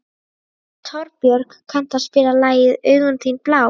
Torbjörg, kanntu að spila lagið „Augun þín blá“?